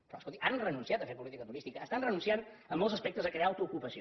però escolti han renunciat a fer política turística estan renunciant en molts aspectes a crear autoocupació